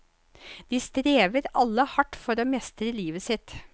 De strever alle hardt for å mestre livet sitt.